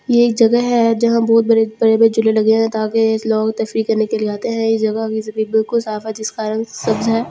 यह एक जगह है यहां बहुत बड़े बड़े ताकि लोग करने के लिए आते है यह जगह बिल्कुल साफ है जिसका रंग सब्ज है।